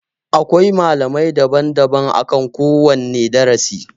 Akwai malamai daban daban akan kowanne darasi